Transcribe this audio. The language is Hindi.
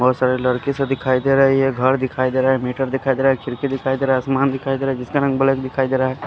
बहुत सारे लड़की से दिखाई दे रहा है ये घर दिखाई दे रहा है मीटर दिखाई दे रहा है खिड़की दिखाई दे रहा है आसमान दिखाई दे रहा है जिसका रंग ब्लैक दिखाई दे रहा है।